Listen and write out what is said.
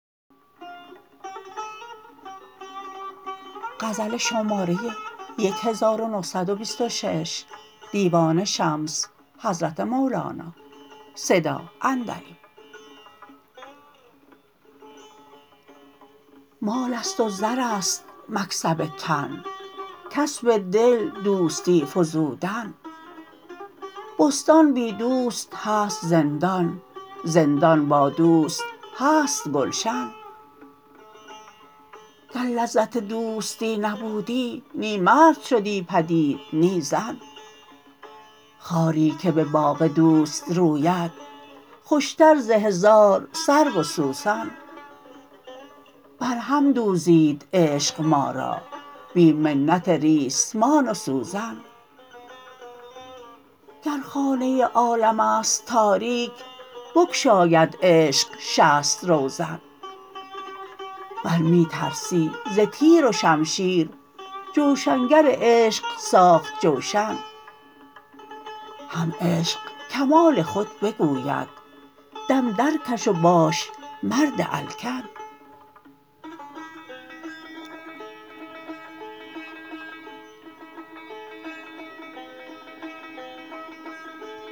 مال است و زر است مکسب تن کسب دل دوستی فزودن بستان بی دوست هست زندان زندان با دوست هست گلشن گر لذت دوستی نبودی نی مرد شدی پدید نی زن خاری که به باغ دوست روید خوشتر ز هزار سرو و سوسن بر هم دوزید عشق ما را بی منت ریسمان و سوزن گر خانه عالم است تاریک بگشاید عشق شصت روزن ور می ترسی ز تیر و شمشیر جوشن گر عشق ساخت جوشن هم عشق کمال خود بگوید دم درکش و باش مرد الکن